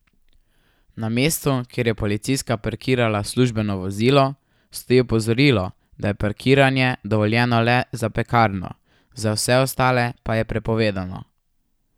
Na mestu, kjer je policistka parkirala službeno vozilo, stoji opozorilo, da je parkiranje dovoljeno le za pekarno, za vse ostale pa je prepovedano.